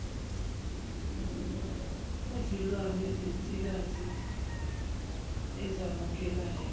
kuzilwane zensikazi ezamukelayo